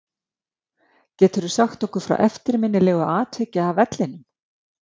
Geturðu sagt okkur frá eftirminnilegu atviki af vellinum?